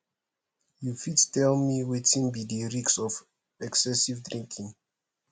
you fit tell me wetin be di risk of excessive drinking